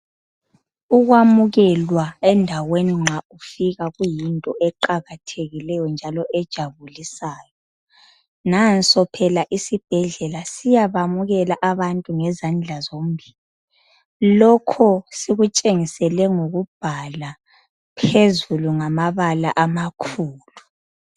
Ukwamukelwa endaweni nxa ufika kuyinto eqakathekileyo njalo ejabulisayo nanso phela isibhedlela siyabamukela abantu ngezandla zombili lokho sikutshengisele ngokubhala phezulu ngamabala amakhulu.